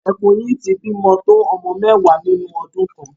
Ẹkùn yìí ti bi tó ọmọ mẹ́wàá nínú ọdun kan.